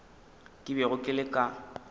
ke bego ke le ka